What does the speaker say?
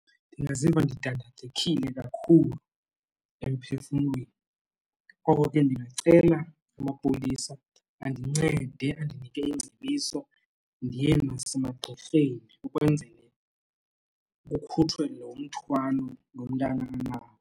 Ndingaziva ndidandathekile kakhulu emphefumlweni. Ngoko ke ndingacela amapolisa andincede, andinike iingcebiso ndiye nasemagqirheni ukwenzele kukhutshwe lo mthwalo lo mntana anawo.